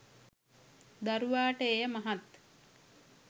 දරුවාට එය මහත්